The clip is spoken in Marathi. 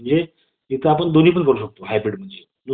कामकाजाच्या नियमांच्या मर्यादा पडून भाषण करण्याचे त्यांना संपूर्ण स्वातंत्र्य